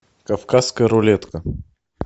кавказская рулетка